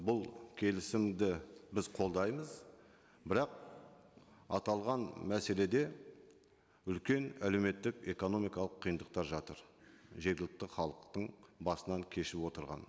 бұл келісімді біз қолдаймыз бірақ аталған мәселеде үлкен әлеуметтік экономикалық қиындықтар жатыр жергілікті халықтың басынан кешіп отырған